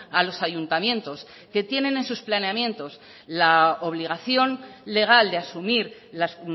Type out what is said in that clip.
a los ayuntamientos que tienen en sus planeamientos la obligación legal de asumir las